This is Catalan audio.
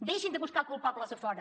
deixin de buscar culpables a fora